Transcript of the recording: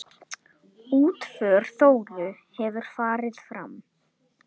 Útför Þóru hefur farið fram.